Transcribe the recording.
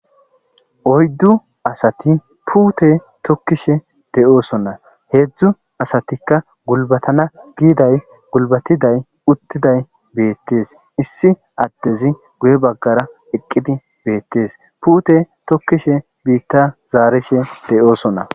Oyidu asati pute tokishe de'osona hezu asatika gulibatiday utiday issi adey guye bagara eqidi betes pute tokishn bita zarishe de'osona